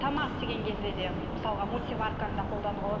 тамақ істеген кезде де мысалға мультиварканы да қолдануға болады